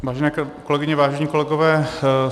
Vážené kolegyně, vážení kolegové.